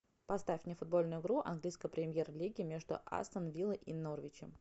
поставь мне футбольную игру английской премьер лиги между астон вилла и норвичем